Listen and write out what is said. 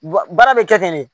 Baara bɛ kɛ ten de